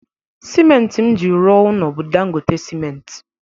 Simenti m ji rụọ ụnọ bụ Dangote simenti.